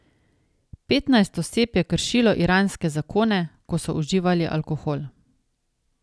Petnajst oseb je kršilo iranske zakone, ko so uživali alkohol.